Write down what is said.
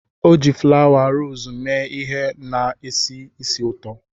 O ji fulawa rosii mee ihe na-esi ísì ụtọ.